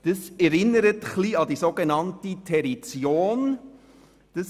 Das erinnert ein wenig an die sogenannte «Territion».